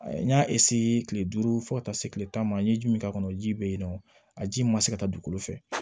N y'a kile duuru fo ka taa se kile tan ma n ye ji min k'a kɔnɔ ji be yen nɔ a ji ma se ka taa dugukolo fɛ